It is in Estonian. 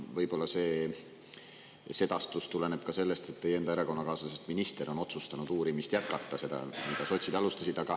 Võib-olla see sedastus tuleneb ka sellest, et teie enda erakonnakaaslasest minister on otsustanud uurimist jätkata, seda, mida sotsid alustasid.